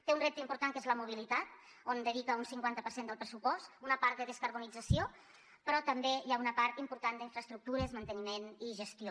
té un repte important que és la mobilitat on dedica un cinquanta per cent del pressupost una part de descarbonització però també hi ha una part important d’infraestructures manteniment i gestió